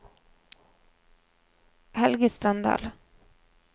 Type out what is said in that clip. Helge Standal